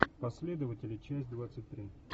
последователи часть двадцать три